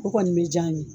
O kɔni bɛ diya n ye